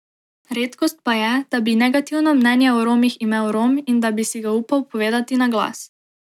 Redkost pa je, da bi negativno mnenje o Romih imel Rom in da bi si ga upal povedati na glas.